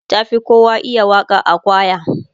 ta Fi kowa iya Waka a kwaya